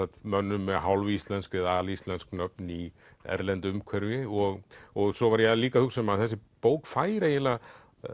mönnum með hálfíslensk eða alíslensk nöfn í erlendu umhverfi og og svo var ég líka að hugsa um að þessi bók fær eiginlega